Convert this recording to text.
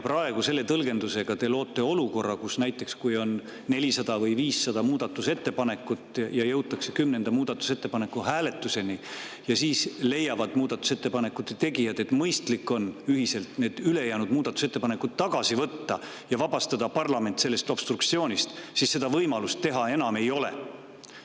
Praegu te loote selle tõlgendusega olukorra, et kui on näiteks 400 või 500 muudatusettepanekut ja jõutakse kümnenda muudatusettepaneku hääletuseni ning siis muudatusettepanekute tegijad leiavad, et mõistlik on ülejäänud muudatusettepanekud ühiselt tagasi võtta ja vabastada parlament obstruktsioonist, siis võimalust seda teha enam ei ole.